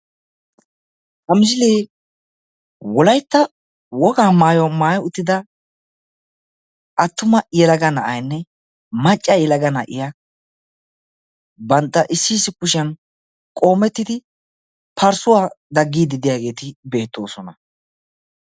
Ha misilee wolaytta wogaa maayuwaa maayi uttida attuma yelaga na'aynne macca yelaga na'iya bantta issi issi kushiyan qoomettidi parssuwaa dagiidi diyaageeti beetoosona.